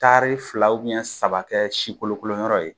Taari fila ubɛn saba kɛ sikolokoloyɔrɔ ye